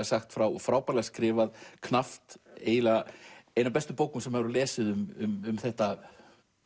sagt frá og frábærlega skrifað knappt eiginlega ein af bestu bókum sem maður hefur lesið um þetta